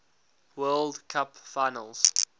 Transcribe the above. world cup finals